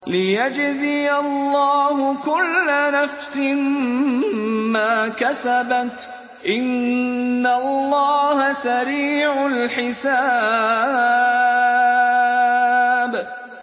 لِيَجْزِيَ اللَّهُ كُلَّ نَفْسٍ مَّا كَسَبَتْ ۚ إِنَّ اللَّهَ سَرِيعُ الْحِسَابِ